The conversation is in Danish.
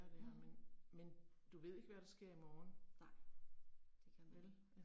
Mh. Nej, det kan man ikke